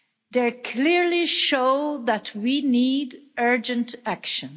They clearly show that we need urgent action.